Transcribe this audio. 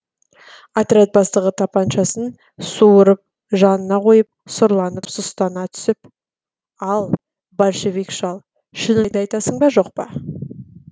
отряд бастығы тапаншасын суырып жанына қойып сұрланып сұстана түсіп ал большевик шал шыныңды айтасың ба жоқ па